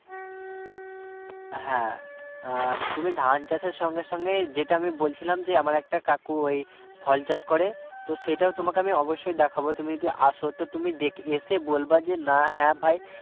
হ্যাঁ আহ তুমি ধান চাষের সঙ্গে সঙ্গে যেটা আমি বলছিলাম যে আমার একটা কাকু এই ফল চাষ করে তো সেটা তোমাকে আমি অবশ্যই দেখাবো তুমি যদি আসো তো তুমি এসে বলবে যে না হ্যাঁ ভাই